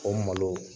O malo